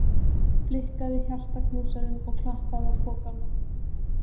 Blikkaði hjartaknúsarann og klappaði á pokann.